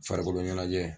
Farikolo ɲɛnajɛ